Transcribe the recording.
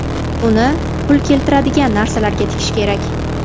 Uni pul keltiradigan narsalarga tikish kerak.